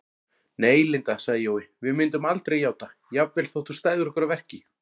Nei, Linda sagði Jói, við myndum aldrei játa, jafnvel þótt þú stæðir okkur að verki